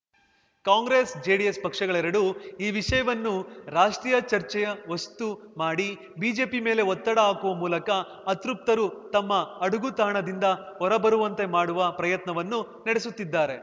Congress JDS ಪಕ್ಷಗಳೆರಡೂ ಈ ವಿಷಯವನ್ನು ರಾಷ್ಟ್ರೀಯ ಚರ್ಚೆಯ ವಸ್ತು ಮಾಡಿ ಬಿಜೆಪಿ ಮೇಲೆ ಒತ್ತಡ ಹಾಕುವ ಮೂಲಕ ಅತೃಪ್ತರು ತಮ್ಮ ಅಡಗುತಾಣದಿಂದ ಹೊರಬರುವಂತೆ ಮಾಡುವ ಪ್ರಯತ್ನವನ್ನು ನಡೆಸುತ್ತಿದ್ದಾರೆ